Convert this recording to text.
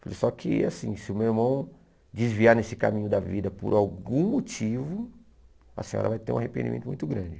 Falei, só que, assim, se o meu irmão desviar nesse caminho da vida por algum motivo, a senhora vai ter um arrependimento muito grande.